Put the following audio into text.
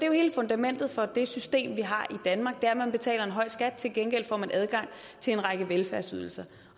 jo hele fundamentet for det system vi har i danmark nemlig at man betaler en høj skat og til gengæld får man adgang til en række velfærdsydelser